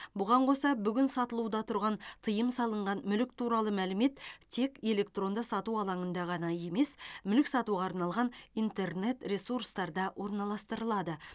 бұған қоса бүгін сатылуда тұрған тыйым салынған мүлік туралы мәлімет тек электронды сату алаңында ғана емес мүлік сатуға арналған интернет ресурстарда орналастырылады